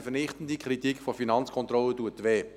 Die vernichtende Kritik der Finanzkontrolle tut weh.